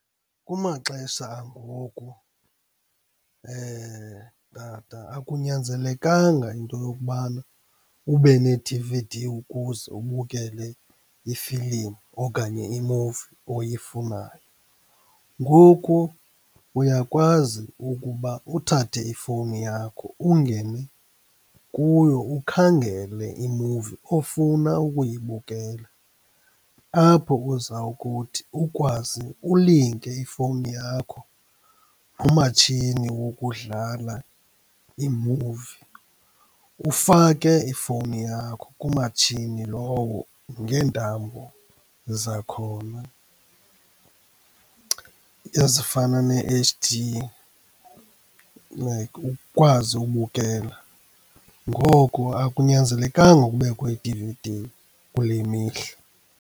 Kumaxesha angoku tata akunyanzelekanga into yokubana ube ne-D_V_D ukuze ubukele ifilimu okanye imuvi oyifunayo. Ngoku uyakwazi ukuba uthathe ifowuni yakho, ungene kuyo ukhangele imuvi ofuna ukuyibukela. Apho uza kuthi ukwazi ulinke ifowuni yakho kumatshini wokudlala imuvi, ufake ifowuni yakho kumatshini lowo ngeentambo zakhona ezifana ne-H_D, like ukwazi ubukela. Ngoko akunyanzelekanga kubekho i-D_V_D kule mihla.